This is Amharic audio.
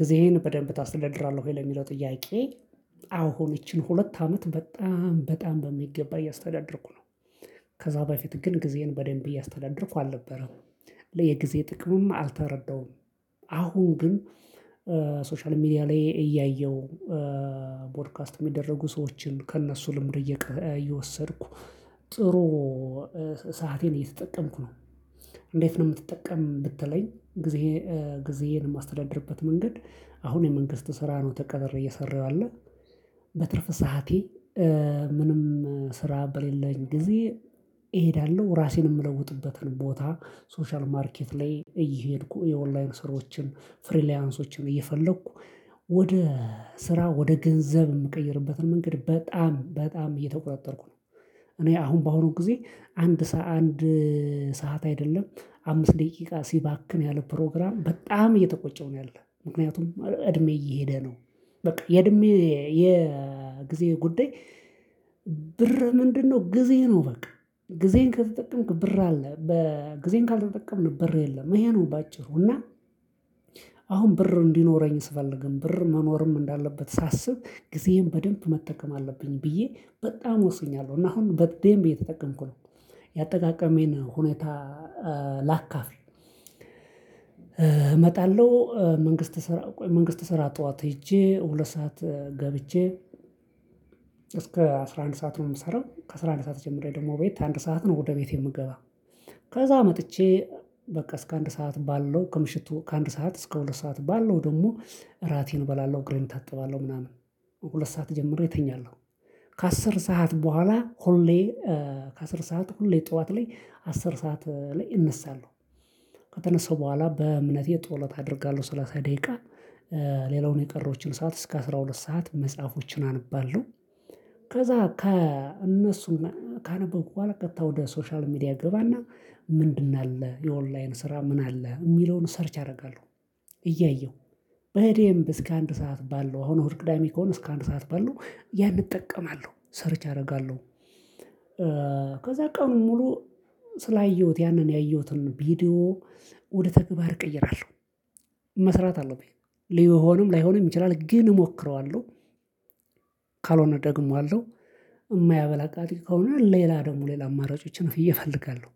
ጊዜህን በደንብ ታስደድራለህ ወይ? ለሚለው ጥያቄ አሁን ይቺን ሁለት አመት በጣም በጣም በሚገባ እያስተዳደርኩ ነው። ከዛ በፊት ግን ጊዜየን በደንብ እያስተዳደርኩ አልነበረም። የጊዜ ጥቅምም አልተረዳውም። አሁን ግን ሶሻል ሚዲያ ላይ እያየው ፖድካስት የሚደረጉ ሰዎችን ከእነሱ ልምድ እየወሰድኩ ጥሩ እየተጠቀምኩ ነው። እንዴት ነው የምትጠቀም ብትለኝ? ጊዜዬን የማስተዳድርበት መንገድ አሁን የመንግስት ስራ ነው ተቀጥሬ እየሰራሁ ያለህ። በትርፍ ሰዓቴ ምንም ስራ በሌለኝ ጊዜ እሄዳለሁ ራሴን የምለውጥበትን ቦታ ሶሻል ማርኬት ላይ እየሄድኩ የኦንላይን ስራዎችን ፍሪላንሶችን እየፈለኩ ወደ ስራ ወደ ገንዘብ የምቀይርበትን መንገድ በጣም በጣም እየተቆጣጠርኩ ነው። እኔ አሁን በአሁኑ ጊዜ አንድ ሰዓት አንድ ሰዓት አይደለም አምስት ደቂቃ ሲባክን ያለ ፕሮግራም በጣም እየተቆጨው ነው ያለው ምክንያቱም እድሜ እየሄደ ነው። በቃ የእድሜ የጊዜ ጉዳይ። ምንድነው? ጊዜ ነው በቃ ጊዜን ከተጠቀምክ ብር አለ በጊዜን ካልተጠቀምክ በር የለም ይሄ ነው። በአጭሩ እና አሁን ብር እንዲኖረኝ ስፈልግም ብር መኖርም እንዳለበት ሳስብ ጊዜዬን በደንብ መጠቀም አለብኝ ብዬ በጣም ወስኛለሁ እና አሁን በደንብ እየተጠቀምኩ ነው። ያጠቃቀሜን ሁኔታ ላካፍል እመጣለሁ። መንግስት ስራ መንግስት ስራ ጠዋት ሄጄ ሁለት ሰዓት ገብቼ እስከ አስራ አንድ ሰዓት ነው የምሰራው ከአስራ አንድ ሰዓት ጀምሬ ደግሞ ቤት አንድ ሰዓት ነው ወደ ቤት የምገባው። ከዛ መጥቼ በቃ እስከ አንድ ሰዓት ባለው ከምሽቱ ከአንድ ሰዓት እስከ ሁለት ሰዓት ባለው ደግሞ እራቴን እበላለሁ እግሬን እታጠባለሁ ምናምን ሁለት ሰዓት ጀምሬ እተኛለሁ። ከ10 ሰዓት በኋላ ሁሌ ከ10 ሰዓት ሁሌ ጠዋት ላይ አስር ሰዓት ላይ እነሳለሁ። ከተነሳሁ በኋላ በእምነቴ ጠሎት አደርጋለሁ 30 ደቂቃ ሌላውን የቀረውችን ሰዓት እስከ 12 ሰዓት መጽሐፎችን አንባለሁ። ከዛ ከእነሱም ካነበብኩ በኋላ ቀጥታ ወደ ሶሻል ሚዲያ እገባና ምንድን አለ የኦንላይን ስራ ምን አለ የሚለውን ሰርች ያደርጋሉ። እያየሁ በደምብ እስከ አንድ ሰዓት ባለው አሁን እሁድ ቅዳሜ ከሆነ እስከ አንድ ሰዓት ባለው ያን እጠቀማለሁ ሰርች አደርጋለሁ። ከዛ ቀኑን ሙሉ ስላየሁት ያንን ያየሁትን ቪዲዮ ወደ ተግባር እቀይራለሁ። መስራት አለብኝ ሊሆንም ላይሆንም ይችላል ግን እሞክረዋለሁ። ካልሆነ ደግሞ አለው። ከሆነ ሌላ ደግሞ ሌላ አማራጮችን እፈለጋለሁ።